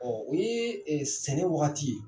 oye sɛnɛ wagati ye.